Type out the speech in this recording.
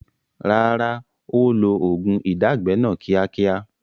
Rárá, ó ó lo oògùn ìdágbẹ́ náà ni kíákíá